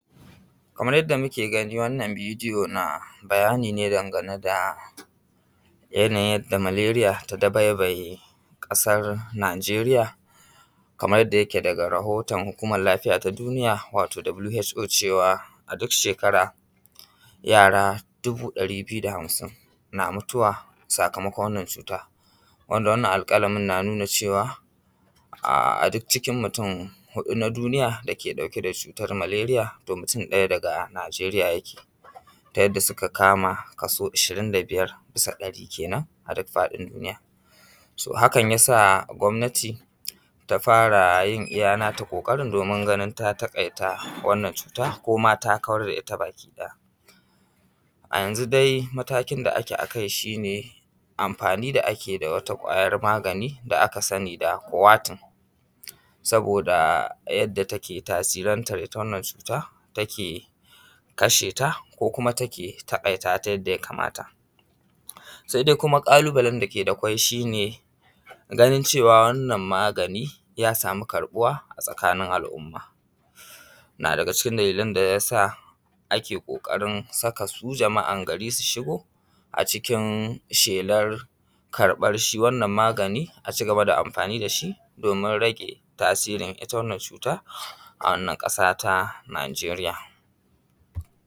Kamar yadda muke gani wannan bidiyo na bayani ne daga yanayi yadda Maleria ke dabaibaye ƙasar Nijeriya kamar yadda yake daga rahoton Hukumar Lafiya ta Duniya wato WHO ta je cewa a duk shekara yara dubu ɗari biyu da hamsin na mutuwa sakamakon wannan cuta, wanda wannan alƙalamin ya nuna cewa a duk cikin mutum huɗu na duniya dake ɗauke da cutar malaria to mutum ɗaya daga Nijeriya yake ta yadda suke kaso ishirin da biyar da kenan a faɗin duniya. So hakan ya sa a gwamnati ta fara yin nata ƙoƙarin domin ganin ta takaita wannan cuta ko ma ta kawar da ita baki ɗaya. A yanzu dai matakin da ake a Kai shi ne amfani da ake da wata ƙwayar magani da aka sani da kowatin saboda yadda take tasirantar ita wannan cuta take kashe ta ko kuma take taƙaita ta yadda ya kamata sai dai kuma ƙalubale da akwai shi ne ganin cewa wannan magani ya sama karɓuwa a tsakanin al'umma na daga ciki dalilan da yasa ake ƙoƙarin saka su jama'an gari su shigo a cikin shelar karɓar shi wannan magani a ci gaba da amfani da shi domin tage tasirin ita wannan cuta wannan ƙasa ta Nijeriya.